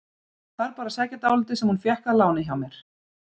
Ég þarf bara að sækja dálítið sem hún fékk að láni hjá mér.